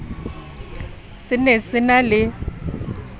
se ne se na le